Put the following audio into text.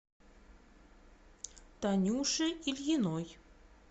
танюше ильиной